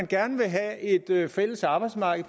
gerne vil have et fælles arbejdsmarked